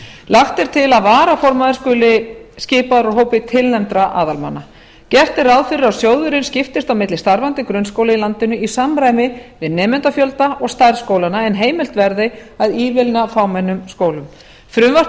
lagt er til að varaformaður skuli skipaður úr hópi tilnefndra aðalmanna gert er ráð fyrir að sjóðurinn skiptist á milli starfandi grunnskóla í landinu í samræmi við nemendafjölda og stærð skólanna en heimilt verði að ívilna fámennum skólum frumvarpið